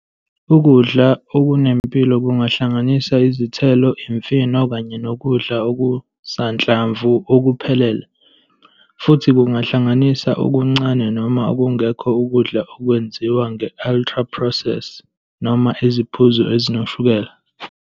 Ukudla okunempilo kungahlanganisa izithelo, imifino, kanye nokudla okusanhlamvu okuphelele, futhi kungahlanganisa okuncane noma okungekho ukudla okwenziwa nge-ultra-process noma iziphuzo ezinoshukela.